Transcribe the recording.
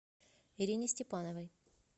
ирине степановой